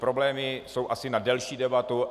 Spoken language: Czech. Problémy jsou asi na delší debatu.